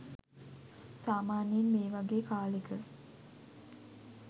සාමාන්‍යයෙන් මේ වගේ කාලෙක